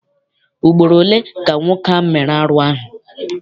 Ugboro ole ka nwoke ahụ mere arụ ahụ?